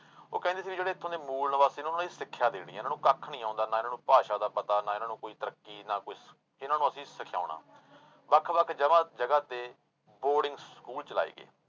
ਉਹ ਕਹਿੰਦੇ ਸੀ ਵੀ ਜਿਹੜੇ ਇੱਥੋਂ ਦੇ ਮੂਲ ਨਿਵਾਸੀ ਨੇ ਉਹਨਾਂ ਨੂੰ ਸਿੱਖਿਆ ਦੇਣੀ ਹੈ ਇਹਨਾਂ ਨੂੰ ਕੱਖ ਨੀ ਆਉਂਦਾ ਨਾ ਇਹਨਾਂ ਨੂੰ ਭਾਸ਼ਾ ਦਾ ਪਤਾ, ਨਾ ਇਹਨਾਂ ਨੂੰ ਕੋਈ ਤਰੱਕੀ ਨਾ ਕੋਈ, ਇਹਨਾਂ ਨੂੰ ਅਸੀਂ ਸਿਖਾਉਣਾ, ਵੱਖ ਵੱਖ ਜਗ੍ਹਾ ਜਗ੍ਹਾ ਤੇ ਬੋਰਡਿੰਗ ਸਕੂਲ ਚਲਾਏ ਗਏ।